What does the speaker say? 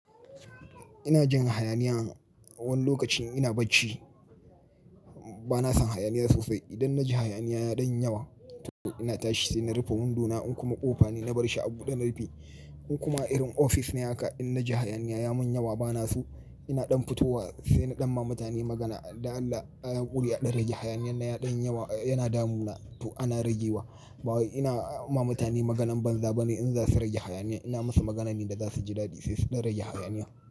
Ina jin hayaniya wani lokacin ina bacci. Ba na san hayaniya sosai. Idan na ji hayaniya ya ɗanyi yawa to ina tashi sai na rufe hundona in kuma ƙofa ne na barshi a buɗe na rufi. In kuma irin ofis ne haka, idan na ji hayaniya ya mun yawa ba na so ina ɗan fitowa sai na ɗanma mutane magana da Allah ayi hakuri'a ɗan rage hayaniyar na ya ɗan yawa yana damuna to ana rage wa. Bawai ina ma mutane maganan banza bane in za su rage hayaniya. Ina musu maganan da za su ji daɗi sai su ɗan rage hayaniya.